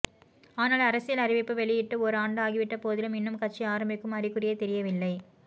ஆனால் அரசியல் அறிவிப்பு வெளியிட்டு ஒரு ஆண்டு ஆகிவிட்டபோதிலும் இன்னும் கட்சி ஆரம்பிக்கும் அறிகுறியே தெரியவில்லை